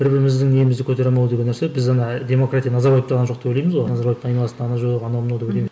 бір біріміздің немізді көтере алмау деген нәрсе біз ана демократия назарбаевта ғана жоқ деп ойлаймыз ғой назарбаевтың айналасында ғана жоқ анау мынау деп